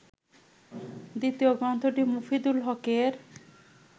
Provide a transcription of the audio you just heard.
দ্বিতীয় গ্রন্থটি মফিদুল হকের